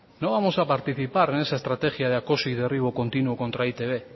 no vamos a participar en esa estrategia de acoso y derribo continuo contra e i te be